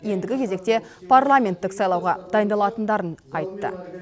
ендігі кезекте парламенттік сайлауға дайындалатындарын айтты